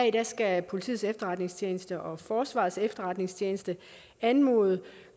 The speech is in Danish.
i dag skal politiets efterretningstjeneste og forsvarets efterretningstjeneste anmode